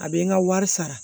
A bɛ n ka wari sara